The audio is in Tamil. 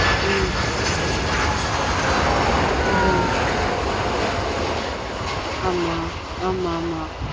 ம்ம் ஆன் ஆமா ஆமாஆமா